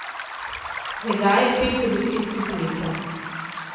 Snega je pet do deset centimetrov.